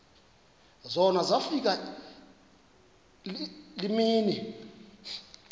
zona zafika iimini